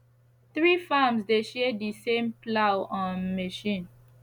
three farms dey share the same plough um machine